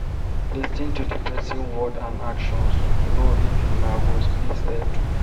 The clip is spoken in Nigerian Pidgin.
Lis ten to di person word and actions to know if una go fit settle